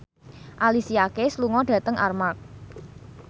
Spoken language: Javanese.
Alicia Keys lunga dhateng Armargh